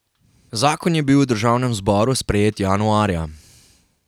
Zakon je bil v državnem zboru sprejet januarja.